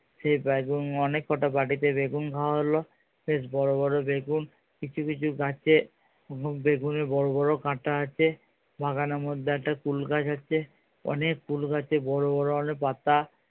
সে অনেক কটা বাড়িতে বেগুন খাওয়া হলো। বেশ বড়ো বড়ো বেগুন কিছু কিছু গাছে বেগুনে বড়ো বড়ো কাঁটা আছে বাগানের মধ্যে একটা কুল গাছ আছে অনেক কুল গাছে বড়ো বড়ো অনেক পাতা